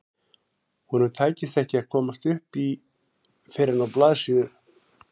Honum tækist ekki að komast upp í fyrr en á blaðsíðu